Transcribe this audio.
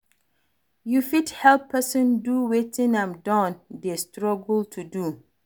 You fit help person do wetin im don dey struggle to do